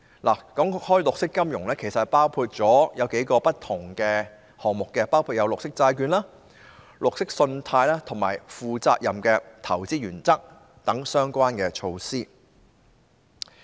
談到綠色金融，其實包括數個不同項目，包括綠色債券、綠色信貸和負責任的投資原則等相關措施。